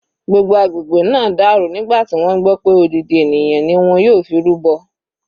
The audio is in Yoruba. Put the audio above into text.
Gbogbo agbègbè náà dàrú nígbà tí wọ́n gbọ́ pé odidi ènìyàn ni wọ́n yóò fi rúbọ.